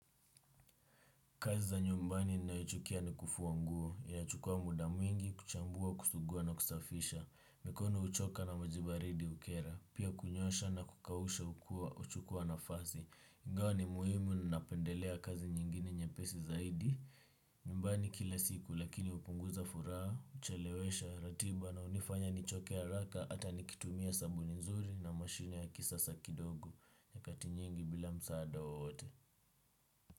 Kazi za nyumbani ninayochukia ni kufua nguo. Inachukua muda mwingi, kuchambua, kusugua na kusafisha. Mikono uchoka na majibaridi ukera. Pia kunyosha na kukawusha uchukua nafazi. Ingao ni muhimu ninapendelea kazi nyingine nyepesi zaidi. Nyumbani kila siku lakini upunguza furaha, uchelewesha, ratiba na unifanya nichoke haraka ata nikitumia sabuni nzuri na mashine ya kisasa kidogo. Nyakati nyingi bila msaada wowote.